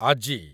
ଆଜି